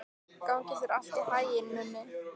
Gangi þér allt í haginn, Mummi.